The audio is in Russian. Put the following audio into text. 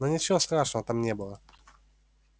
но ничего страшного там не было